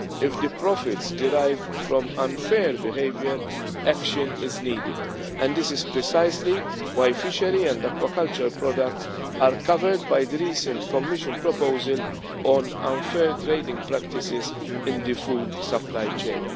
work. If the profits derive from unfair behaviour, action is needed, and this is precisely why fishery and aquaculture products are covered by the recent Commission proposal on unfair trading practices in the food supply